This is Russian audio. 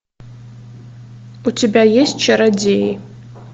у тебя есть чародеи